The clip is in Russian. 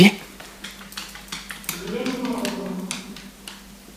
елена морозова